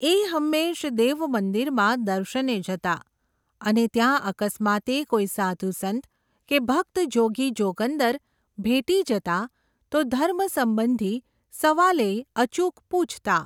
એ હંમેશ દેવમંદિરમાં દર્શને જતા, અને ત્યાં અકસ્માતે કોઈ સાઘુ સંત કે ભક્ત જોગી જોગંદર, ભેટી જતા તો ધર્મ સંબંધી સવાલેય અચૂક પૂછતા.